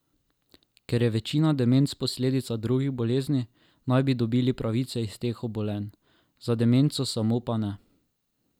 Ker je večina demenc posledica drugih bolezni, naj bi dobili pravice iz teh obolenj, za demenco samo pa ne.